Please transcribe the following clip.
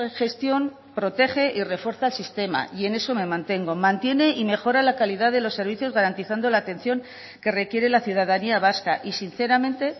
gestión protege y refuerza el sistema y en eso me mantengo mantiene y mejora la calidad de los servicios garantizando la atención que requiere la ciudadanía vasca y sinceramente